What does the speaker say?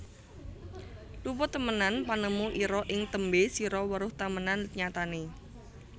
Luput temenan panemu ira ing tembe sira weruh temenan nyatane